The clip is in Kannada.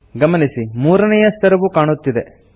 ಗಮನಿಸಿ ಮೂರನೇಯ ಸ್ತರವು ಕಾಣುತ್ತಿದೆ